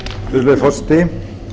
virðulegi forseti